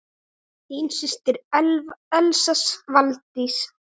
Þín systir, Elsa Valdís.